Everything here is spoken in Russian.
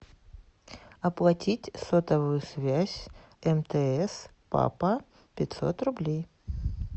оплатить сотовую связь мтс папа пятьсот рублей